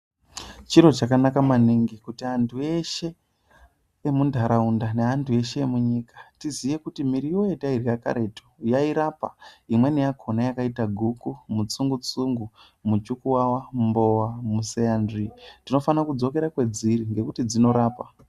Chiro chakanaka maningi kuti antu eshe emundaraunda, neantu eshe emunyika tiziye kuti miriwo yatairya karetu yairapa, imweni yakona yakayita guku, mutsungu-tsungu, mujukuwawa, mumbowa, museyanzvi, tinofana kudzokera kwadziri nokuti dzinorapa.